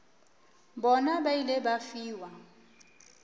bona ba ile ba fiwa